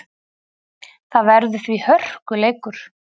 Það verður því hörkuleikur.